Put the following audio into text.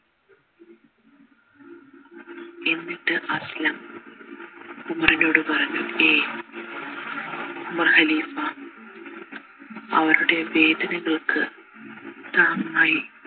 എന്നിട്ട് അസ്‌ലം ഉമറിനോട് പറഞ്ഞു ഏയ് ഖലീഫ അവരുടെ വേദനകൾക്ക് താങ്ങായി